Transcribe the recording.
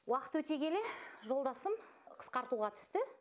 уақыт өте келе жолдасым қысқартуға түсті